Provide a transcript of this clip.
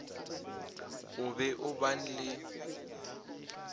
o be o ban le